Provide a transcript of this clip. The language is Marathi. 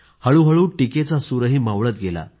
हळूहळू टीकेचा सूरही मावळत गेला